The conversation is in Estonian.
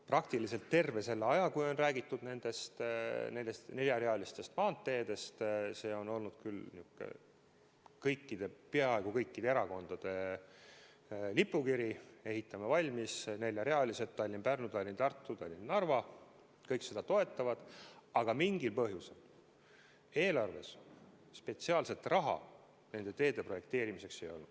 Praktiliselt terve selle aja, kui on räägitud nendest neljarealisest maanteedest – see on küll olnud peaaegu kõikide erakondade lipukiri, et ehitame valmis neljarealise maantee Tallinn–Pärnu, Tallinn–Tartu, Tallinn–Narva –, on seda toetatud, aga mingil põhjusel eelarves spetsiaalselt raha nende teede projekteerimiseks ei olnud.